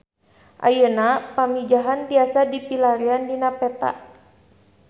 Ayeuna Pamijahan tiasa dipilarian dina peta